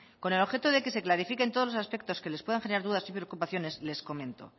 con el objeto de que se clarifiquen todos los aspectos que les puedan generar dudas y preocupaciones les comento